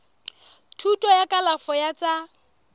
thuto ya kalafo ya tsa